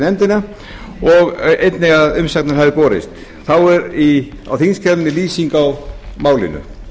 nefndina og einnig að umsagnir hafi borist þá er þar lýsing á málinu